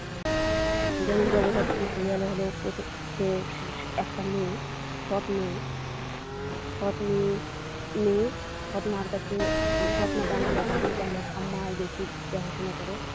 যেমন জগদ্ধাত্রী সিরিয়ালে হলো একটা মেয়ে সৎ মেয়ে সদ মেয়ে মেয়ে সদ মায়ের কাছে সদ মা তেমন দেখাশোনা করে না ঠাম্মাই বেশি দেখাশোনা করে।